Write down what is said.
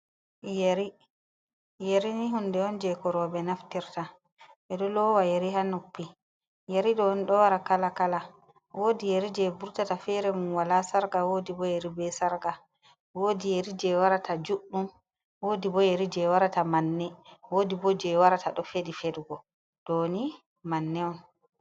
Yeri:yeri ni hunde on je ko robe naftirta, ɓeɗo lowa yeri ha noppi, yeri ɗo ni ɗo wara kala-kala wodi yeri je vurtata fere mum wala sarga wodi bo yeri be sarga, wodi yeri je wara ta juɗɗum, wodi bo yeri je wara ta manne wodi bo je wara ta ɗo feɗi feɗugo doni manne on.